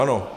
Ano.